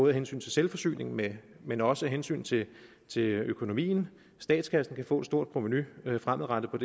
af hensyn til selvforsyningen men men også af hensyn til til økonomien statskassen kan få et stort provenu fremadrettet på